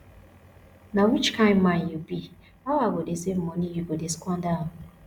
na which kin man you be how i go dey save money you go dey squander am